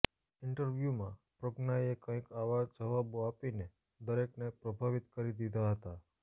interview માં પ્રજ્ઞા એ કંઈક આવા જવાબો આપીને દરેક ને પ્રભાવિત કરી દીધા હતા